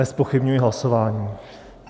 Nezpochybňuji hlasování.